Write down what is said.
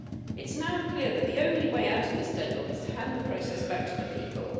It's now clear that the only way out of this deadlock is to hand the process back to the people.